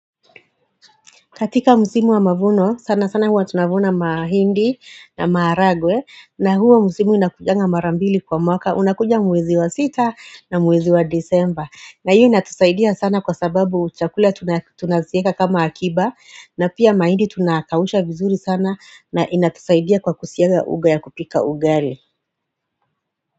Katika musimu wa mavuno sana sana huwa tunavuna mahindi na maharagwe na huo musimu inakujanga marambili kwa mwaka unakuja mwezi wa sita na mwezi wa disemba na hiyo inatusaidia sana kwa sababu chakula tunaziweka kama akiba na pia mahindi tunakausha vizuri sana na inatusaidia kwa kusiaga unga ya kupika ugali.